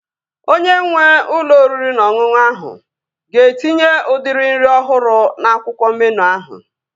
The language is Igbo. Onye nwee ụlọ oriri na ọṅụṅụ ahụ ga-etinye udiri nri ọhụrụ n'akwụkwọ meenụ ahụ